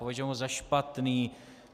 Považujeme ho za špatný.